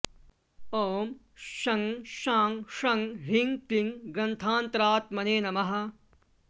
ॐ शं शां षं ह्रीं क्लीं ग्रन्थान्तरात्मने नमः